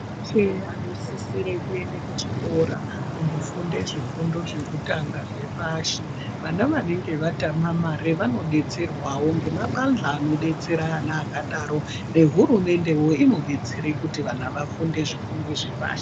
Vana veshe anosisire kuende kuchikora kunofunde zvifundo zvekutanga zvepashi. Vana vanenge vatama mare vanobetserwavo nemabanjwa anobetsera vana vakadaro nehurumende inobetseravo kuti vana vafunde zvifundo zvepashi.